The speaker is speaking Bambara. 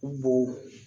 U bo